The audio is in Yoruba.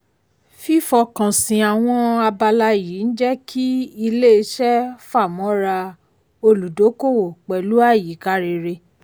fífọkànsìn àwọn abala yìí ń jẹ́ kí ilé-iṣẹ́ fámọ́ra olùdókòwò pẹ̀lú àyíká rere.